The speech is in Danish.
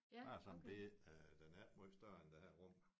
Bare sådan bette den er ikke måj større end det her rum